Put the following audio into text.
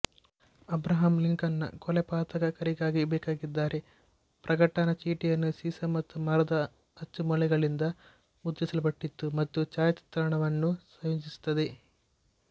Abraham ಲಿಂಕನ್ನ ಕೊಲೆಪಾತಕರಿಗಾಗಿ ಬೇಕಾಗಿದ್ದಾರೆ ಪ್ರಕಟಣ ಚೀಟಿಯನ್ನು ಸೀಸ ಮತ್ತು ಮರದ ಅಚ್ಚುಮೊಳೆಗಳಿಂದ ಮುದ್ರಿಸಲ್ಪಟ್ಟಿತು ಮತ್ತು ಛಾಯಾಚಿತ್ರಣವನ್ನು ಸಂಯೋಜಿಸುತ್ತದೆ